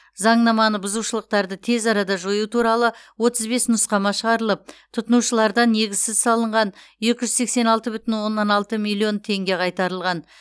заңнаманы бұзушылықтарды тез арада жою туралы отыз бес нұсқама шығарылып тұтынушылардан негізсіз салынған екі жүз сексен алты бүтін оннан алты миллион теңге қайтарылған